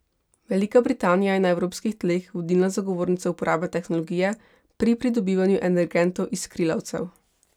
Velika Britanija je na evropskih tleh vodilna zagovornica uporabe tehnologije pri pridobivanju energentov iz skrilavcev.